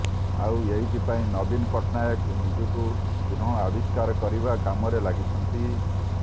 ଆଉ ଏଇଥିପାଇଁ ନବୀନ ପଟ୍ଟନାୟକ ନିଜକୁ ପୁନଃଆବିଷ୍କାର କରିବା କାମରେ ଲାଗିଛନ୍ତି